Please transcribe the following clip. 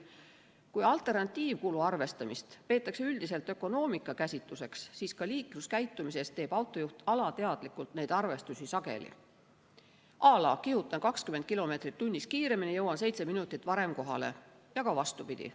Kui alternatiivkulu arvestamist peetakse üldiselt ökonoomika käsitluseks, siis ka liikluskäitumises teeb autojuht alateadlikult neid arvestusi sageli, à la kihutan 20 kilomeetrit tunnis kiiremini, jõuan seitse minutit varem kohale, ja ka vastupidi.